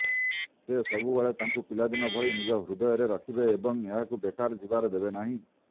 ସେ ସବୁବେଳେ ତାଙ୍କୁ ପିଲାଦିନ ଭଳି ନିଜ ହୃଦୟରେ ରଖିବେ ଏବଂ ଏହାକୁ ବେକାର ଯିବାର ଦେବେ ନାହିଁ